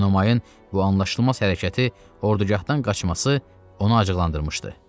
Enomayın bu anlaşılmaz hərəkəti, ordugahdan qaçması onu acıqlandırmışdı.